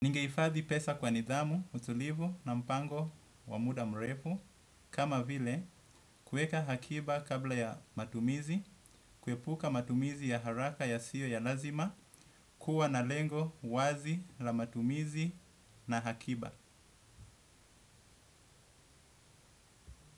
Ningehifadhi pesa kwa nidhamu, utulivu na mpango wa muda mrefu, kama vile kuweka hakiba kabla ya matumizi, kuepuka matumizi ya haraka yasiyo ya lazima, kuwa na lengo wazi la matumizi na hakiba.